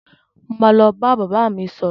Mo ma lọ bá bàbá mi sọ̀rọ̀.